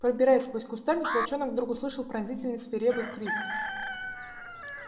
пробираясь сквозь кустарник волчонок вдруг услышал пронзительный свирепый крик